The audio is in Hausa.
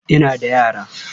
Ina da yara.